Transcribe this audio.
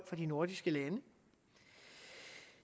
de nordiske lande